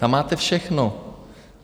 Tam máte všechno.